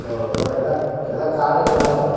Horanadu ಅಲ್ಲಾ ಎಲ್ಲಾ ಕಾಡು ಬೆಟ್ಟಾ ಅದು.